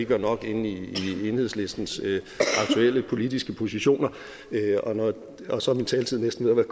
ikke var nok inde i enhedslistens aktuelle politiske positioner og og så er min taletid næsten ved at